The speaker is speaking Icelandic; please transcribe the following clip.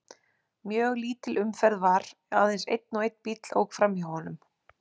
Mjög lítil umferð var, aðeins einn og einn bíll ók fram hjá honum.